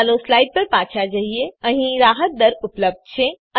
ચાલો સ્લાઈડ પર પાછા જઈએ અહીં રાહત દર ઉપલબ્ધ છે